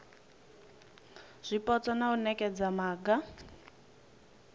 zwipotso na u nekedza maga